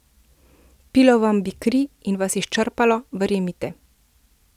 Pilo vam bi kri in vas izčrpavalo, verjemite.